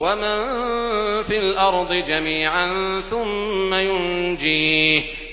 وَمَن فِي الْأَرْضِ جَمِيعًا ثُمَّ يُنجِيهِ